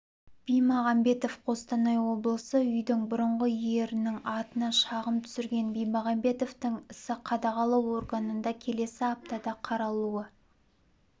бимағанбетов қостанай облысы үйдің бұрынғы иерінің атына шағым түсірген бимағанбетовтың ісі қадағалау органында келесі аптада қаралуы